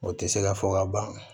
O tɛ se ka fɔ ka ban